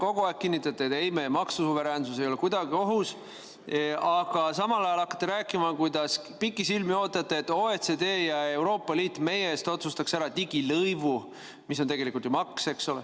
Kogu aeg olete kinnitanud, et ei, meie maksusuveräänsus ei ole kuidagi ohus, aga samal ajal hakkate rääkima, kuidas te pikisilmi ootate, et OECD ja Euroopa Liit meie eest otsustaks ära digilõivu, mis on tegelikult ju maks.